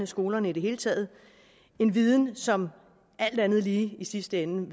skolerne i det hele taget en viden som alt andet lige i sidste ende